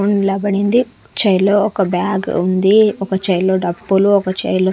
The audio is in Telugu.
పడింది చైర్ లో ఒక బ్యాగ్ ఉంది ఒక చైర్ లో డబ్బులు ఒక చైర్ లో --